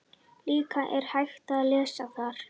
Líka er hægt að lesa þar